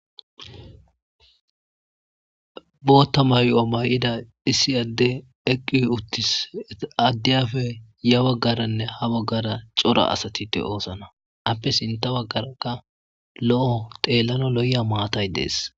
Botta maayo mayida issi adey eqqi adeyappe ya bagaranne ha baggara cora asati deo7osna appe sinththa baggaraka lo7o xelanawu lo7iya maatay dessi.